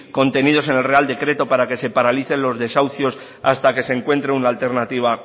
contenidos en el real decreto para que se paralice los desahucios hasta que se encuentre una alternativa